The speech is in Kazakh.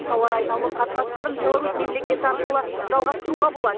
тауар айналымы қатынастарын беларусь мемлекеті арқылы жалғастыруға болады